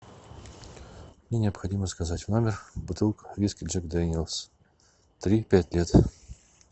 мне необходимо заказать в номер бутылку виски джек дэниэлс три пять лет